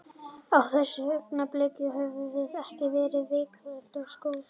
Á þessu augnabliki, höfum við ekki verið virkilega á skotskónum.